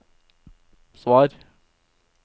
svar